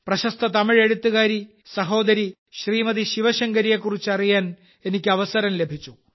പ്രശസ്ത തമിഴ് എഴുത്തുകാരി സഹോദരി ശ്രീമതി ശിവശങ്കരിയെക്കുറിച്ച് അറിയാൻ എനിക്ക് അവസരം ലഭിച്ചു